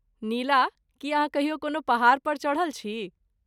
नीला, की अहाँ कहियो कोनो पहाड़ पर चढ़ल छी?